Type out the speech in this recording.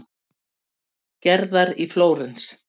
Gerðar í Flórens.